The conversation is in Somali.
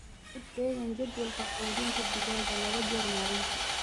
Ku dheggan jadwalka quudinta digaagga laba jeer maalintii.